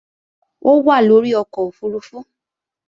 Ó wà lórí ọkọ̀ òfurufú